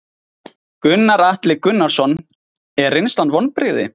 Gunnar Atli Gunnarsson: Er reynslan vonbrigði?